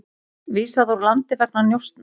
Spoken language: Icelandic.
Vísað úr landi vegna njósna